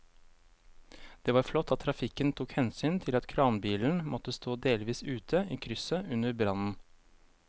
Det var flott at trafikken tok hensyn til at kranbilen måtte stå delvis ute i krysset under brannen.